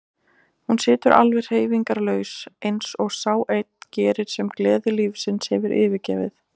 Hún situr alveg hreyfingarlaus, eins og sá einn gerir sem gleði lífsins hefur yfirgefið.